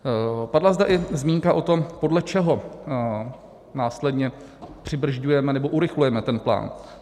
Padla zde i zmínka o tom, podle čeho následně přibrzďujeme nebo urychlujeme ten plán.